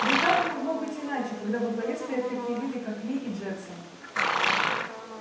да и как могло быть иначе когда во главе стоят такие люди как ли и джексон